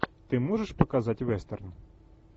ты можешь показать вестерн